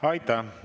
Aitäh!